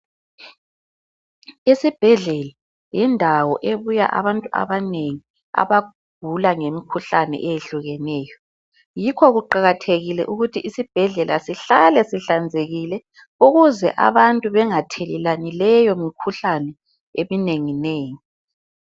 Isibhedlela yindawo ebuya abantu abanengi abagula ngemikhuhlane eyehlukeneyo yikho kuqakathekile ukuthi isibhedlela sihlale sihlanzekile ukuze abantu bengathelelani leyo mikhuhlane eminengi nengi.